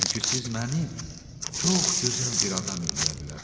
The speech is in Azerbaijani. Çünki siz məni çox gözəl bir adam eləyə bilərsiz.